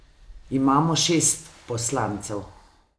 Imamo šest poslancev.